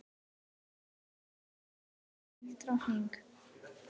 Elísabet var ávallt vinsæl drottning.